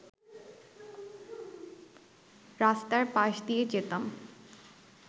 রাস্তার পাশ দিয়ে যেতাম